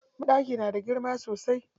Banɗakin na da girma sosai.